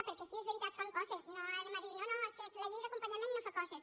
perquè sí és veritat fan coses no direm no no és que la llei d’acompanyament no fa coses